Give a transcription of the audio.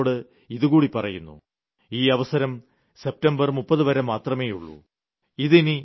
ഒപ്പം ജനങ്ങളോട് ഇതുകൂടി പറയുന്നു ഈ അവസരം സെപ്റ്റംബർ 30 വരെ മാത്രമേയുള്ളൂ